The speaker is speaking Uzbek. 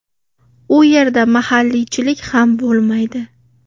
U yerda mahalliychilik ham bo‘lmaydi.